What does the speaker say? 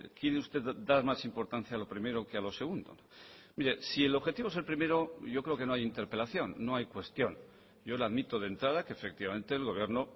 quiere usted dar más importancia a lo primero que a lo segundo mire si el objetivo es el primero yo creo que no hay interpelación no hay cuestión yo le admito de entrada que efectivamente el gobierno